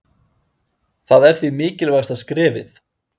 Það er því mikilvægasta skrefið.